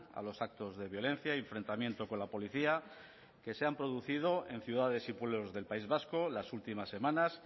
a los actos de violencia y enfrentamiento con la policía que se han producido en ciudades y pueblos del país vasco las últimas semanas